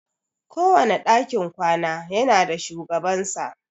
Kowane dakin kwana ya na da shugabansa.